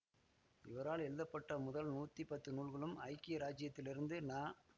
இவரால் எழுதப்பட்ட முதல் நூத்தி பத்து நூல்களும் ஐக்கிய இராச்சியத்திலிருந்து ந